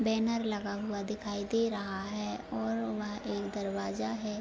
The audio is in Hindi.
बैनर लगा हुआ दिखाई दे रहा है और वह एक दरवाजा है।